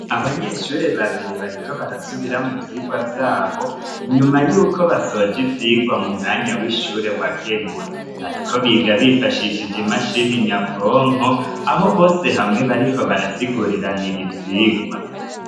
Abanyeshure babiri bariko barasubiramo ivyigwa vyabo inyuma y'uko basoje ivyigwa mu mwanya w'ishure wagenywe bariko biga bifashishije imashini nyabwonko aho bose hamwe bariko barasiguriranira ivyigwa